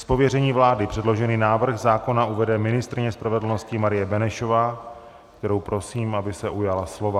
Z pověření vlády předložený návrh zákona uvede ministryně spravedlnosti Marie Benešová, kterou prosím, aby se ujala slova.